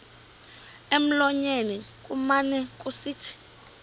emlonyeni kumane kusithi